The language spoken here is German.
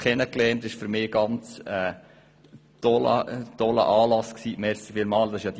Das war für mich ein ganz toller Anlass, den wir dir zu verdanken haben.